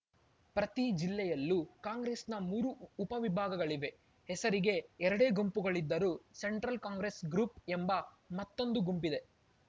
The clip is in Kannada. ಪ್ರತಿ ಜಿಲ್ಲೆಯಲ್ಲೂ ಕಾಂಗ್ರೆಸ್‌ನ ಮೂರು ಉಪವಿಭಾಗಗಳಿವೆ ಹೆಸರಿಗೆ ಎರಡೇ ಗುಂಪುಗಳಿದ್ದರೂ ಸೆಂಟ್ರಲ್‌ ಕಾಂಗ್ರೆಸ್‌ ಗ್ರೂಪ್‌ ಎಂಬ ಮತ್ತೊಂದು ಗುಂಪಿದೆ